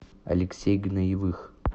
алексей гноевых